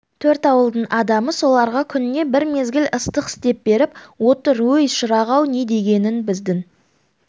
төрт ауылдың адамы соларға күніне бір мезгіл ыстық істеп беріп отыр өй шырақ-ау не дегенің біздің